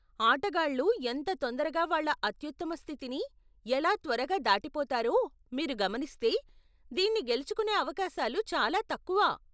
ఆటగాళ్లు ఎంత తొందరగా వాళ్ళ అత్యుత్తమ స్థితిని ఎలా త్వరగా దాటిపోతారో మీరు గమనిస్తే, దీన్ని గెలుచుకోనే అవకాశాలు చాలా తక్కువ.